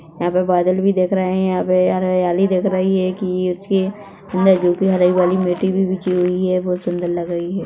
यहाँ पर बादल भी दिख रहे हैं यहा पर हरियाली दिख रही है कि बहुत सुंदर लग रही है।